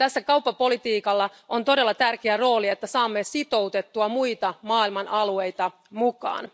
Kauppapolitiikka on todella tärkeässä roolissa, jotta saamme sitoutettua muita maailman alueita mukaan.